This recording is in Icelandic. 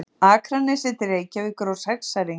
Akranesi til Reykjavíkur á sexæringi.